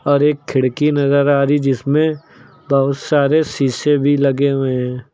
और एक खिड़की नजर आ रही है जिसमें बहुत सारे शीशे भी लगे हुए हैं।